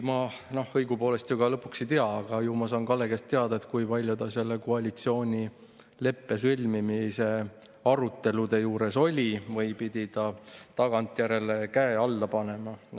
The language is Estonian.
Ma õigupoolest ju ei tea, aga ju ma saan Kalle käest teada, kui palju ta koalitsioonileppe sõlmimise arutelude juures oli või pidi ta käe alla panema tagantjärele.